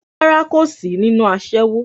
Rárá, kò sí nínú aṣẹ́wó